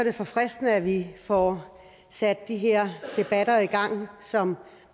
er forfriskende at vi får sat de her debatter i gang som